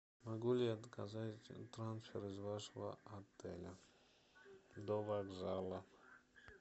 могу ли я заказать трансфер из вашего отеля до вокзала